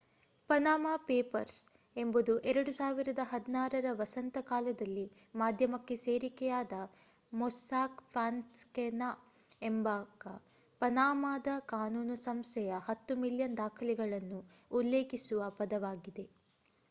Panama papers ಎಂಬುದು 2016ರ ವಸಂತ ಕಾಲದಲ್ಲಿ ಮಾಧ್ಯಮಕ್ಕೆ ಸೋರಿಕೆಯಾದ ಮೊಸ್ಸಾಕ್ ಫಾನ್ಸೆಕಾ ಎಂಬ ಪನಾಮಾದ ಕಾನೂನು ಸಂಸ್ಥೆಯ 10 ಮಿಲಿಯನ್ ದಾಖಲೆಗಳನ್ನು ಉಲ್ಲೇಖಿಸುವ ಪದವಾಗಿದೆ